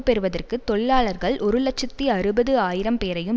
பெறுவதற்கு தொழிலாளர்கள் ஒரு இலட்சத்தி அறுபது ஆயிரம் பேரையும்